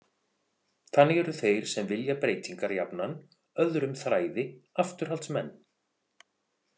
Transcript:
Þannig eru þeir sem vilja breytingar jafnan öðrum þræði afturhaldsmenn.